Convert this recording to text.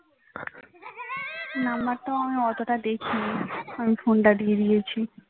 number আমি অত দেখিনি phone দিয়ে দিয়েছি